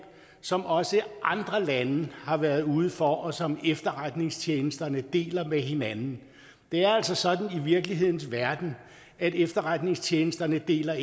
som også andre lande har været ude for og som efterretningstjenesterne deler med hinanden det er altså sådan i virkelighedens verden at efterretningstjenesterne ikke deler